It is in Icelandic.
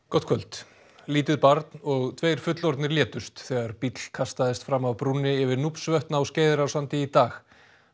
gott kvöld lítið barn og tveir fullorðnir létust þegar bíll kastaðist fram af brúnni yfir á Skeiðarársandi í dag